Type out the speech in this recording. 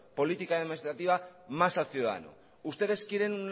política administrativa más al ciudadano ustedes quieren